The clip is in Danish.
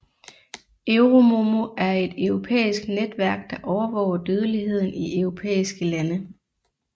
EuroMOMO er et europæisk netværk der overvåger dødeligheden i europæiske lande